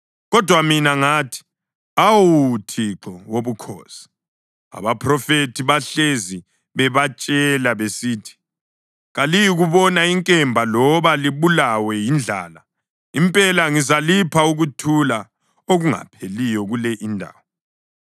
Kodwa mina ngathi, “Awu Thixo Wobukhosi, abaphrofethi bahlezi bebatshela besithi, ‘Kaliyikubona inkemba loba libulawe yindlala. Impela, ngizalipha ukuthula okungapheliyo kule indawo.’ ”